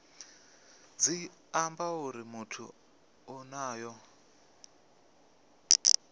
tshi amba uri muthu onoyo